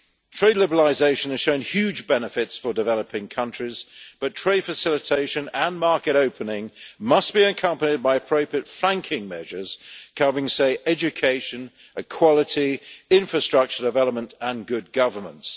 Trade liberalisation has shown huge benefits for developing countries, but trade facilitation and market opening must be accompanied by appropriate flanking measures covering, say, education, equality, infrastructure development and good governance.